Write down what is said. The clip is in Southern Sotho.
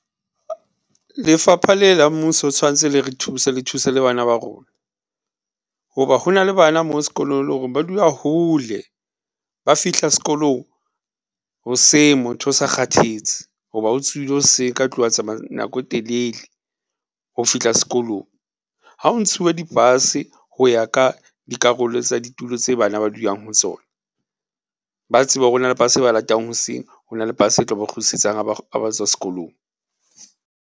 Lefapha le la mmuso tshwantse le re thuse le thuse le bana ba rona, hoba ho na le bana mo e leng hore ba dula hole ba fihla s'kolong hoseng motho o sa kgathetse hoba o tsohile hoseng ka tlung, a tsamaya nako e telele ho fihla s'kolong. Ha o ntshuwe di-bus ho ya ka dikarolo tsa ditulo tse bana ba dulang ho tsona ba tsebe hore ho na le bus e ba latang hoseng ho na le bus e tlo ba kgutlisetsang ha ba tswa s'kolong.